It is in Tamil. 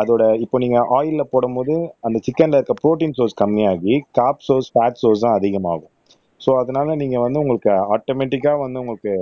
அதோட இப்ப நீங்க ஆயில்ல போடும்போது அந்த சிக்கன்ல இருக்க ப்ரோடீன் சோர்ஸ கம்மியாகி சோர்ஸ் ஃபட் சோர்ஸ் தான் அதிகமாகும் சோ அதனால நீங்க வந்து உங்களுக்கு ஆட்டோமேட்டிக்கா வந்து உங்களுக்கு